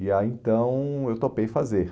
E aí então eu topei fazer.